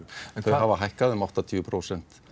þau hafa hækkað um áttatíu prósent